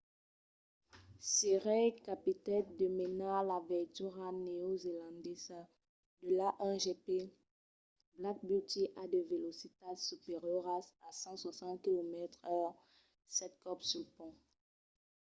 sr. reid capitèt de menar la veitura neozelandesa de l'a1gp black beauty a de velocitats superioras a 160km/h sèt còps sul pont